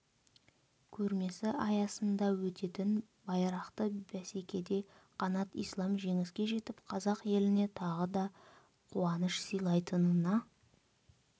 көрмесі аясында өтетін байрақты бсекеде қанат ислам жеңіске жетіп қазақ еліне тағы да қуаныш сыйлайтынына